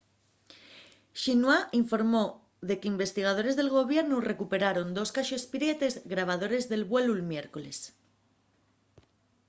xinhua informó de qu’investigadores del gobiernu recuperaron dos caxes prietes” grabadores del vuelu'l miércoles